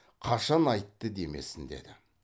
қашан айтты демесін деді